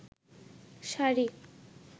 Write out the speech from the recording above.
sari